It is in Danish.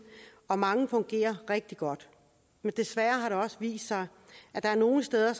og mange fungerer rigtig godt men desværre har det også vist sig at der er nogle steder